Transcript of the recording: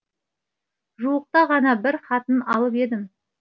жуықта ғана бір хатын алып едім